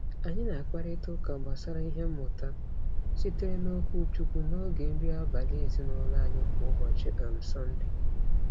Anyị na-akparịtaụka gbasara ihe mmụta sitere n’okwuchukwu n’oge nri abalị ezinaụlọ anyị kwa ụbọchị um Sọnde.